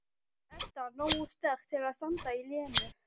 Edda nógu sterk til að standa í Lenu.